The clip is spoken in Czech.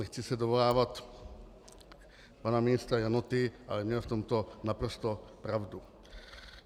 Nechci se dovolávat pana ministra Janoty, ale měl v tomto naprosto pravdu.